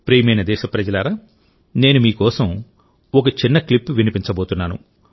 ప్రియమైన దేశప్రజలారా నేను మీ కోసం ఒక చిన్న క్లిప్ వినిపించబోతున్నాను